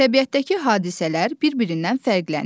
Təbiətdəki hadisələr bir-birindən fərqlənir.